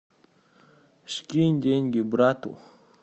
скинь деньги брату